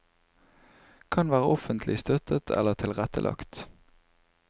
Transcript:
Kan være offentlig støttet eller tilrettelagt.